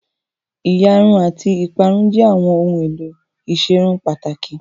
Òyà Irun àti ìparun jẹ́ àwọn ohun èlò ìserun pàtàkì